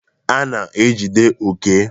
A na-ejide Oke.